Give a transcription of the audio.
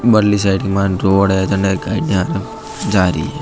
बारली side main road है जडे गाड़िया जारी है।